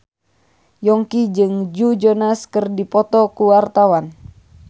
Yongki jeung Joe Jonas keur dipoto ku wartawan